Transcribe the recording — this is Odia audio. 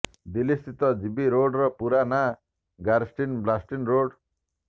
ଦିଲ୍ଲୀ ସ୍ଥିତ ଜିବି ରୋଡର ପୁରା ନାଁ ଗାରଷ୍ଟିନ୍ ବାଷ୍ଟିନ୍ ରୋଡ୍